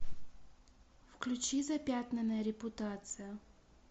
включи запятнанная репутация